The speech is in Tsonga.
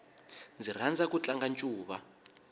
ndzi rhandza ku tlanga ncuva